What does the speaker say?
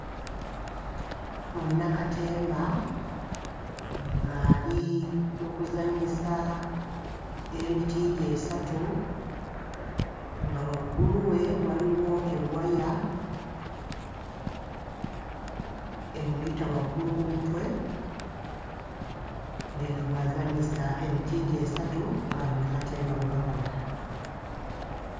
Munnakatemba ng'ali mu kuzannyisa emiti gye esatu nga waggulu we waliwo ewaya emuyita waggulu ku mutwe ng'eno bw'azannyisa emiti gye esatu nga bannakatemba bwe bakola.